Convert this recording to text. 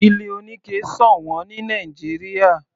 Ilé oníke sọ̀wọ́n ní Nàìjíríà.